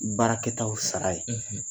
Baarakɛtaw sara ye